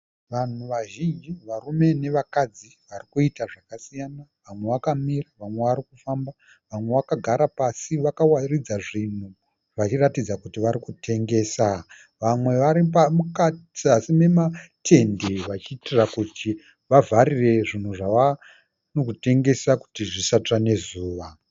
Vanhu vazhinji varume nevakadzi varikuita zvakasiyana. Vamwe vakamira vamwe varikufamba vamwe vakagara pasi vakawaridza zvinhu vachiratidza kuti varikutengesa. Vamwe vari muzasi mematende vachiitira kuti vavharire zvinhu zvavarikutengesa kuti zvisatsve nezuva.